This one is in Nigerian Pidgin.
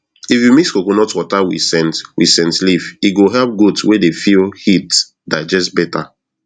if you mix coconut water with scent with scent leaf e go help goat wey dey feel heat digest better